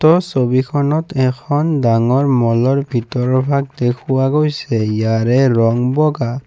উক্ত ছবিখনত এখন ডাঙৰ মল ৰ ভিতৰৰ ভাগ দেখুওৱা গৈছে ইয়াৰে ৰং বগা।